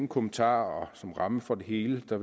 kommentar om rammen for det hele at